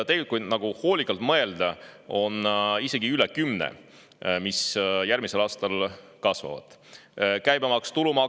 Tegelikult on neid, mis järgmisel aastal kasvavad, kui hoolikalt mõelda, isegi üle kümne.